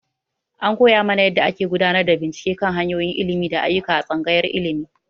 An koya mana yadda ake gudanar da bincike kan hanyoyin ilimi da ayyuka a Tsangayar Ilimi.